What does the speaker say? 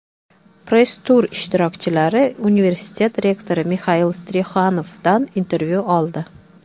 Press-tur ishtirokchilari universitet rektori Mixail Strixanovdan intervyu oldi.